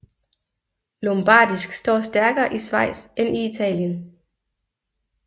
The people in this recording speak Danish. Lombardisk står stærkere i Schweiz end i Italien